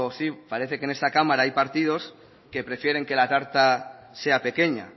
sí parece que esta cámara hay partidos que prefieren que la tarta sea pequeña